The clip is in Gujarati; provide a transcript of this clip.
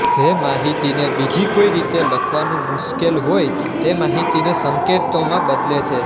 જે માહિતીને બીજી કોઈ રીતે લખવાનું મુશ્કેલ હોય તે માહિતીને સંકેતોમાં બદલે છે